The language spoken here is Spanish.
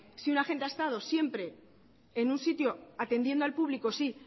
si un agente ha estado siempre en un sitio atendiendo al público sí